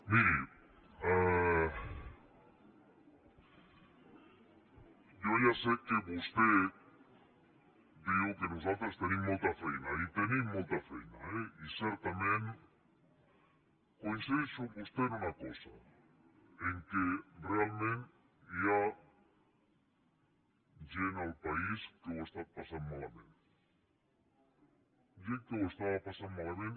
miri jo ja sé que vostè diu que nosaltres tenim molta feina i tenim molta feina eh i certament coincideixo amb vostè en una cosa que realment hi ha gent al país que ho ha estat passant malament gent que ho estava passant malament